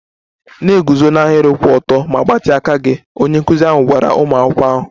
Na-eguzo n'ahịrị kwụ ọtọ ma gbatịa aka gị! Onye nkụzi ahụ gwara ụmụ akwụkwọ ahụ.